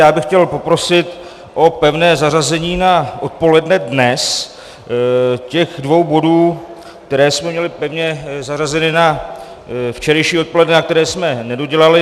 Já bych chtěl poprosit o pevné zařazení na odpoledne dnes těch dvou bodů, které jsme měli pevně zařazeny na včerejší odpoledne a které jsme nedodělali.